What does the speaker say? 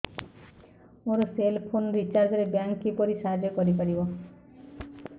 ମୋ cell phone recharge ରେ bank କିପରି ସାହାଯ୍ୟ କରିପାରିବ